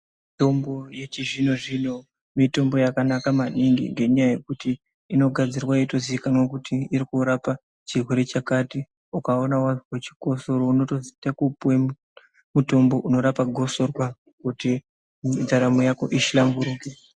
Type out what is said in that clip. Mitombo yechizvinozvino mitombo yakanaka maningi ngenyaya yekuti inogadzirwa yeitoziikanwa kuti irikurapa chirwere chakati ukawona wazwa chikosoro unotopuwa mutombo unorapa gosorwa kuti ndaramu yako ihlamburuke